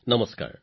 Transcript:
নমস্কাৰ